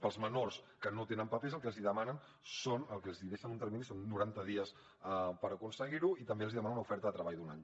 per als menors que no tenen papers el que els hi deixen de termini són noranta dies per aconseguir ho i també els hi demanen una oferta de treball d’un any